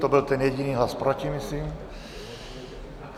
To byl ten jediný hlas proti myslím.